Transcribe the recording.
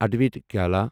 ادوایتا کَلا